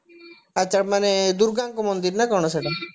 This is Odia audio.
ଆଛା ମାନେ ଦୂର୍ଗାଙ୍କ ମନ୍ଦିର ନା କଣ ସେଇଟା